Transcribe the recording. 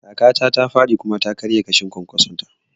Kakata ta faɗi kuma ta karya ƙashin kwankwason ta